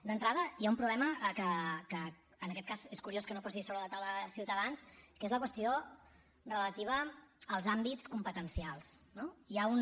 d’entrada hi ha un problema que en aquest cas és curiós que no posi sobre la taula ciutadans que és la qüestió relativa als àmbits competencials no hi ha un